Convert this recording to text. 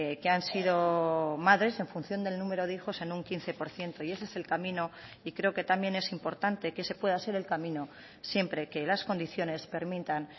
que han sido madres en función del número de hijos en un quince por ciento y ese es el camino y creo que también es importante que ese pueda ser el camino siempre que las condiciones permitan